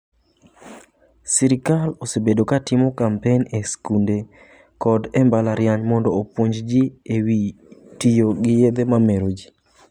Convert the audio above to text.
Sirkal osebedo ka timo kampen e skunde koda e mbalariany mondo opuonj ji e wi tiyo gi yedhe mamero.